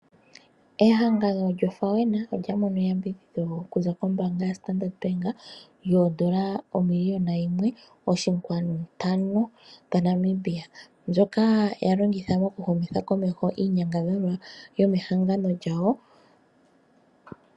Ehangano lyofawena olya mono eyambidhidho okuza kombaanga ya standard bank yoodolla omiliona yimwe oshinkwanu ntano dha Namibia mbyoka ya longitha moku humitha komeho iinyangadhalwa yomehangano lyawo.